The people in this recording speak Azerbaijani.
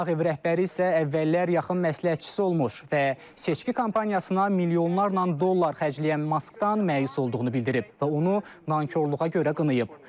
Ağ Ev rəhbəri isə əvvəllər yaxın məsləhətçisi olmuş və seçki kampaniyasına milyonlarla dollar xərcləyən Maskdan məyus olduğunu bildirib və onu nankorluğa görə qınayıb.